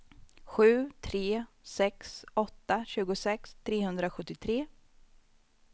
sju tre sex åtta tjugosex trehundrasjuttiotre